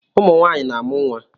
Umunwaanyị na-amụ nwa